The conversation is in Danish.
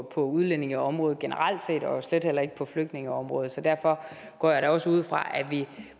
på udlændingeområdet generelt set og slet heller ikke på flygtningeområdet så derfor går jeg da også ud fra at vi